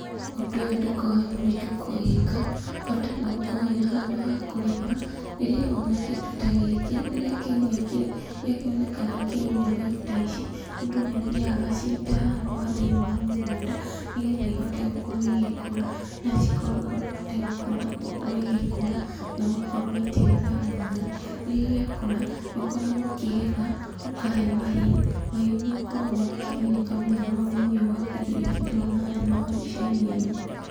Ũndũ ũyũ ndũkoragwo wĩ mũritũ kũwĩka, bata no ũkorwo wĩ na handũ ha kũrĩma. Rĩrĩa wona kĩndũ ta gĩkĩ, rĩrĩa kĩaumia kĩro, gĩakĩonekana kĩaumia mbegũ ta ici, mũndũ nĩathiaga agacita hau ha thĩiniĩ wa mũgũnda, nĩgetha ihote gũkorwo igĩkũra, na cihote gũkorwo igĩkũra na ũgakorwo ũgĩitĩrĩria maĩ. Rĩrĩa gĩakũra, nĩũkoragwo ũkĩgetha ũkahe mahiũ. Mahiũ nĩmakoragwo makĩgunĩka mũno na ũrĩmi wa kĩndũ gĩkĩ ndĩrona haha thĩiniĩ wa mbica-inĩ ĩno.